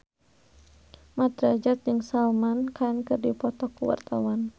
Mat Drajat jeung Salman Khan keur dipoto ku wartawan